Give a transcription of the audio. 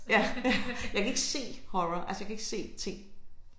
Ja jeg kan ikke se horror altså jeg kan ikke se ting